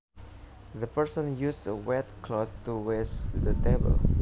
The person used a wet cloth to wash the table